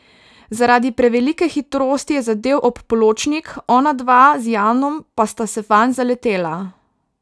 Zaradi prevelike hitrosti je zadel ob pločnik, onadva z Janom pa sta se vanj zaletela.